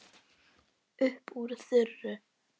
Upp úr þurru.